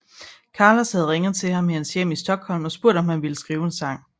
Carlos havde ringet til hans hjem i Stockholm og spurgt om han ville skrive en sang